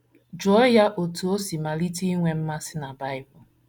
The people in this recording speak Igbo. Jụọ ya otú o si malite inwe mmasị na Bible.